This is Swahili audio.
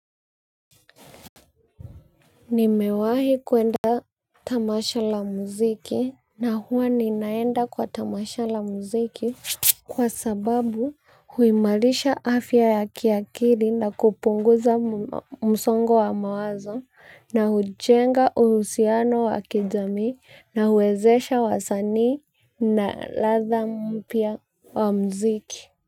Nimewahi kuenda tamasha la muziki na huwa ninaenda kwa tamasha la muziki kwa sababu huimarisha afya ya kiakili na kupunguza msongo wa mawazo na hujenga uhusiano wa kijamii na huwezesha wasanii na ladhaa mpya wa muziki.